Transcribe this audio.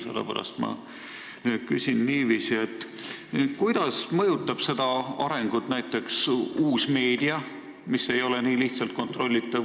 Sellepärast ma küsin niiviisi: kuidas mõjutab seda arengut uus meedia, mis ei ole nii lihtsalt kontrollitav?